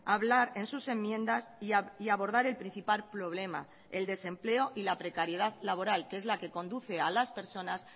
hablar en sus enmiendas y abordar el principal problema el desempleo y la precariedad laboral que es la que conduce a las personas